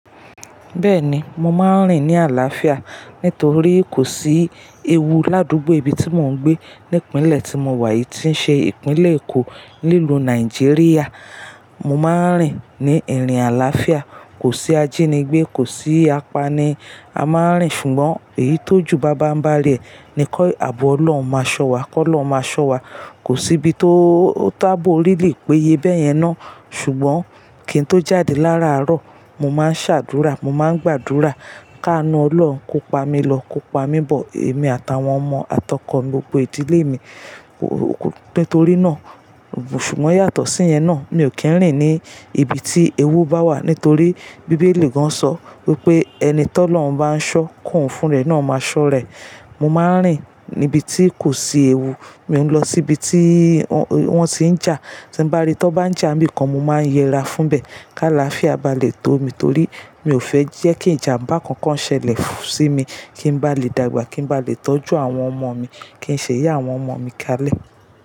Bẹ́ẹ̀ni, mo máa ń rìn ní àlàáfíà nítorí kò sí ewu ládúgbò ibi tí mò ń gbé, ní ìpínlẹ̀ tí mo wà yìí tí ń ṣe ìpínlẹ̀ Èkó nílùú Nàìjíríà. Mo máa ń rìn ní ìrìn àlàáfíà, kò sí ajínigbé, kò sí apani, a máa ń rìn ṣùgbọ́n èyí tó ju banbanbari e ni ki àbọ̀ ọlọ́un máa ṣọ wa, kọ́lọ́uń máa ṣọ wa. Kò sí ibi tó tábò really péye béyẹn náà ṣùgbọ́n kí ń tó jáde lára árọ̀, mo máa ń ṣàdúrà, mo máa ń gbàdúrà ká nú ọlọ́un, kó pa mí lọ, kó pa mí bọ̀, èmi àtàwọn ọmọ àtọkọ̀mí gbogbo ìdílé mi. Nítorí náà, ṣùgbọ́n yàtọ̀ sí yẹn náà, mi ò kí ń rìn ní ibi tí ewu bá wà nítorí Bíbélì gan sọ wípé, "ẹni tọ́ lọ́uń bá ń ṣọ́, koun fún rẹ̀ náà máa ṣọ́ ra e". Mo máa ń rìn níbi tí kò sí ewu, moun lọ síbi tí wọ́n ti ń jà. Tí bá rí tí wọ́n bá ń jà ibìkan, mo máa ń yẹra fún bẹ̀ ká làáfíà bá lè tó mi torí mi ò fẹ́ jẹ́ kí ìjàmbá kankan ṣẹlẹ̀ sí mi. Kí n bá lè dàgbà, kí n bá lè tọ́jú àwọn ọmọ mi, kí ń ṣe ìyá àwọn ọmọ mi kalẹ̀.